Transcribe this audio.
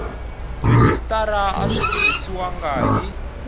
rhejisitara a swi tirhisiwangi hi